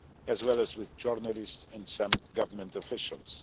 as well as with journalists and some government officials.